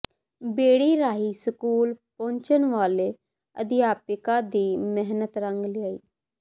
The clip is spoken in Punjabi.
ਬੇੜੀ ਰਾਹੀਂ ਸਕੂਲ ਪੁੱਜਣ ਵਾਲੇ ਅਧਿਆਪਕਾਂ ਦੀ ਮਿਹਨਤ ਰੰਗ ਲਿਆਈ